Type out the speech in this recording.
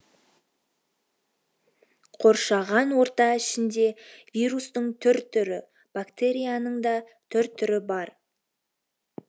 қоршаған орта ішінде вирустың түр түрі бактерияның да түр түрі бар